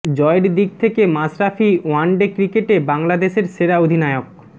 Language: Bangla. জয়ের দিক থেকে মাশরাফী ওয়ানডে ক্রিকেটে বাংলাদেশের সেরা অধিনায়ক